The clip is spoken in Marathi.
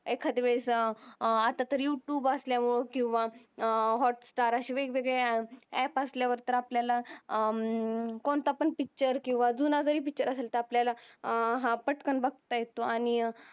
एकात वेळेस अत्ता तरी युटूब असल्यावर किव्हा हॉटस्टार अस वेग वेगळी app असल्यावर तर आपल्याला कोणता पण पिक्चर किव्हा जून तरी पिक्चर असेल तर आपल्याला पटकन बगत येतो आणि